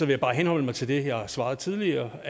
jeg bare henholde mig til det jeg svarede tidligere